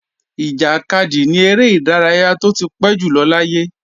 Ìjàkadì ni eré ìdárayá tó ti pẹ́ jùlọ láyé